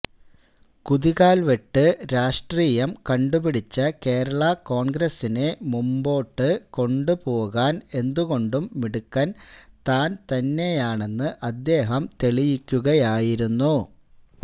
കുതികാൽവെട്ട് രാഷ്ട്രീയം കണ്ടുപിടിച്ച കേരളാ കോൺഗ്രസിനെ മുന്നോട്ടു കൊണ്ടുപോകാൻ എന്തുകൊണ്ടും മിടുക്കൻ താൻ തന്നെയാണെന്ന് അദ്ദേഹം തെളിയിക്കുകയായിരുന്നു